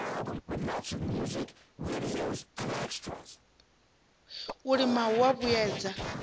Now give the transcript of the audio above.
u lima hu a vhuedza